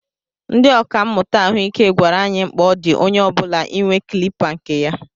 Ndị ọkà mmụta ahụike gwara anyị mkpa ọ dị onye ọbula inwe kilipa kne ya.